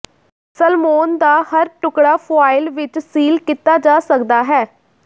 salmon ਦਾ ਹਰ ਟੁਕੜਾ ਫੁਆਇਲ ਵਿੱਚ ਸੀਲ ਕੀਤਾ ਜਾ ਸਕਦਾ ਹੈ